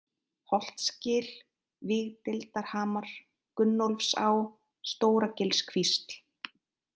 Holtsgil, Vígdeildarhamar, Gunnólfsá, Stóragilskvísl